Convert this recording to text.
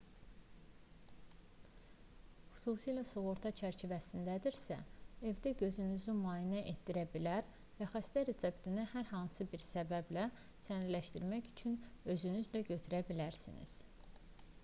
xüsusilə sığorta çərçivəsindədirsə evdə gözünüzü müayinə etdirə bilər və xəstə reseptini hər hansı bir səbəblə sənədləşdirmək üçün özünüzlə götürə bilərsiniz